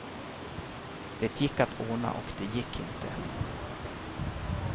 Det gick att ordna och det gick inte.